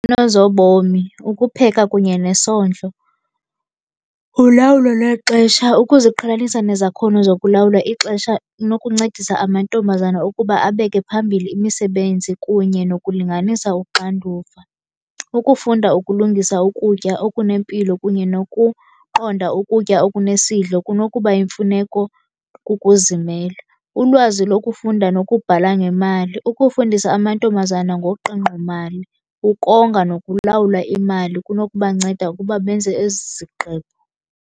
Nezobomi, ukupheka kunye nesondlo, ulawulo lwexesha, ukuziqhelanisa nezakhono zokulawula ixesha inokuncedisa amantombazana ukuba abeke phambili imisebenzi kunye nokulinganisa uxanduva. Ukufunda ukulungisa ukutya okunempilo kunye nokuqonda ukutya okunesidlo kunokuba yimfuneko kukuzimela. Ulwazi lokufunda nokubhala ngemali. ukufundisa amantombazana ngoqingqomali, ukonga nokulawula imali kunokubanceda ukuba benze ezi zigqibo.